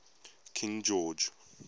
king george